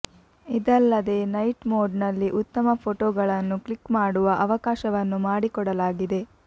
ಇದಲ್ಲದೇ night mode ನಲ್ಲಿ ಉತ್ತಮ ಫೋಟೋಗಳನ್ನು ಕ್ಲಿಕ್ ಮಾಡುವ ಅವಕಾಶವನ್ನು ಮಾಡಿಕೊಡಲಾಗಿದೆ